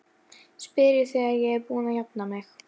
spyr ég þegar ég er búin að jafna mig.